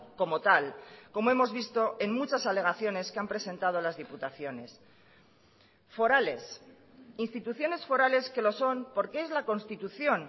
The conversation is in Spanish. como tal como hemos visto en muchas alegaciones que han presentado las diputaciones forales instituciones forales que los son porque es la constitución